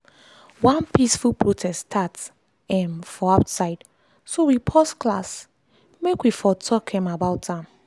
one peaceful protest start um for outside so we pause class make we for talk about am.